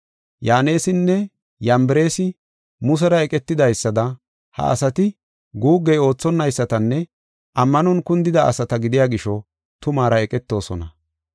Yaanesinne Yambareesi Musera eqetidaysada ha asati guuggey oothonaysatanne ammanon kundida asata gidiya gisho tumaara eqetoosona.